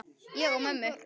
Við því lægju háar sektir.